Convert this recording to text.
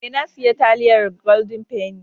Eh, na siya taliyar "golden penny".